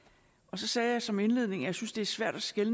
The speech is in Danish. så sagde jeg som indledning at jeg synes det er svært at skelne